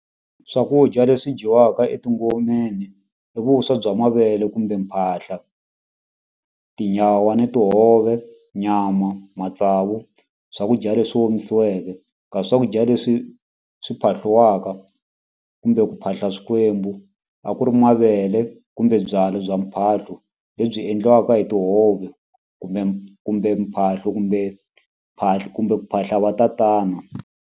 Swakudya leswi dyiwaka etingomeni i vuswa bya mavele kumbe mphahla tinyawa ni tihove nyama matsavu swakudya leswi omisiweke ka swakudya leswi swi phahliwaka kumbe ku phahla swikwembu a ku ri mavele kumbe byalwa bya mphahlo lebyi endliwaka hi tihove kumbe kumbe mphahlo kumbe kumbe ku phahla va tatana.